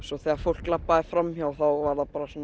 þegar fólk labbaði fram hjá var það